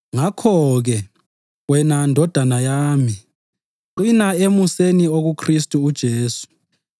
Ngakho-ke, wena ndodana yami, qina emuseni okuKhristu uJesu.